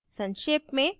संक्षेप में